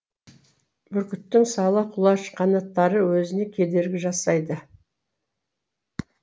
бүркіттің сала құлаш қанаттары өзіне кедергі жасайды